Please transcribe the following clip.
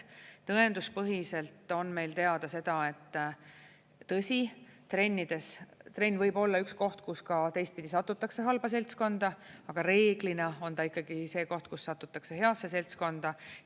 Tõenduspõhiselt on meil teada, et tõsi, trenn võib olla üks koht, kus ka teistpidi satutakse halba seltskonda, aga reeglina on ta ikkagi see koht, kus satutakse heasse seltskonda.